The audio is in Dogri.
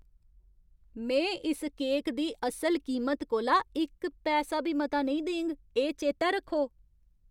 में इस केक दी असल कीमत कोला इक पैसा बी मता नेईं देङ! एह् चेतै रक्खो!